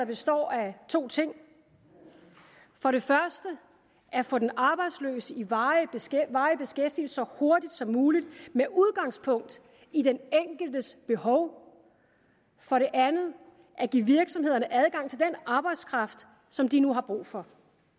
består af to ting for det første at få den arbejdsløse i varig varig beskæftigelse så hurtigt som muligt med udgangspunkt i den enkeltes behov for det andet at give virksomhederne adgang til den arbejdskraft som de nu har brug for